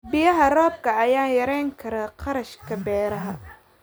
Biyaha roobka ayaa yarayn kara kharashka beeraha.